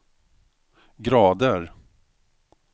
grader